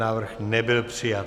Návrh nebyl přijat.